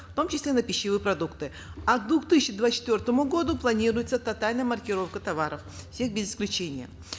в том числе на пищевые продукты а к две тысячи двадцать четвертому году планируется тотальная маркировка товаров всех без исключения